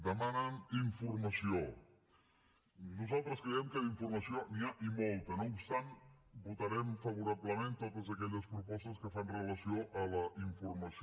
demanen informació nosaltres creiem que d’informació n’hi ha i molta no obstant votarem favorablement totes aquelles propostes que fan relació a la informació